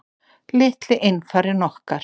Litli einfarinn okkar.